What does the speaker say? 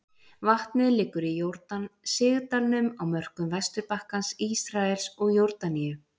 Vatnið liggur í Jórdan sigdalnum á mörkum Vesturbakkans, Ísraels og Jórdaníu.